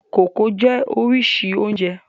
Kókò jẹ́ oríṣìí oúnjẹ.